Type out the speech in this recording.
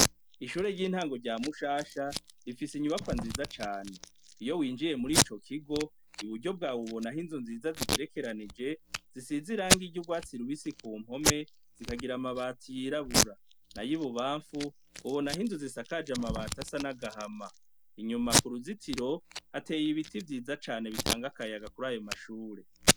Ishure ry'intango rya mushasha rifise inyubakwa nziza cane iyo winjiye muri ico kigo iburyo bwawe ubona aho inzu nziza zigerekeranije zisize irangi ry’urwatsi rubisi ku mpome zikagira amabati yirabura na y'i bubamfu ubona aho inzu zisakaje amabati asa n'agahama inyuma ku ruzitiro hateye ibiti vyiza cane bitanga akayaga kuri ayo mashure.